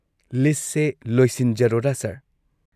ꯂꯤꯁꯠꯁꯦ ꯂꯣꯏꯁꯤꯟꯖꯔꯣꯔꯥ, ꯁꯔ꯫